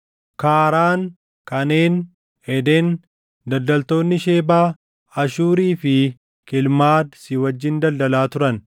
“ ‘Kaaraan, Kaneen, Eden, daldaltoonni Shebaa, Ashuurii fi Kilmaad si wajjin daldalaa turan.